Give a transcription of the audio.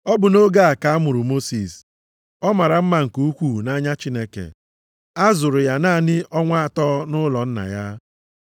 “Ọ bụ nʼoge a ka a mụrụ Mosis, ọ mara mma nke ukwuu nʼanya Chineke. A zụrụ ya naanị ọnwa atọ nʼụlọ nna ya.